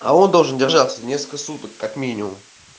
а он должен держаться несколько суток как минимум